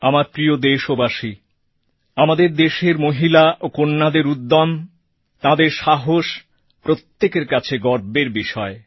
আমার প্রিয় দেশবাসী আমাদের দেশের মহিলা ও কন্যাদের উদ্যম তাঁদের সাহস প্রত্যেকের কাছে গর্বের বিষয়